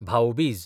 भाऊ बीज